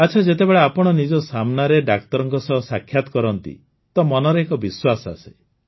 ଆଚ୍ଛା ଯେତେବେଳେ ଆପଣ ନିଜ ସାମ୍ନାରେ ଡାକ୍ତରଙ୍କ ସହ ସାକ୍ଷାତ କରନ୍ତି ତ ମନରେ ଏକ ବିଶ୍ୱାସ ଆସେ